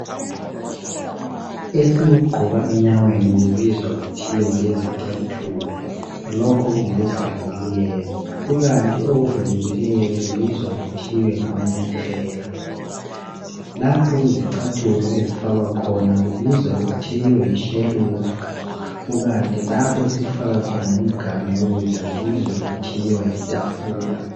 Esikugqoka enyaweni okubizwa kuthiwa yizicathulo lokhu ngokuvalekileyo kukanti okuvulekileyo okubizwa kuthiwe ngamanyathela. Lapho isicathulo ezifakwa khona kubizwa kuthiwe yishelufu kukanti lapho esifaka khona imiganu kubizwa kuthiwe yitafula.